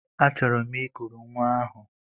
Achọrọ m I kuru nwa ahụ.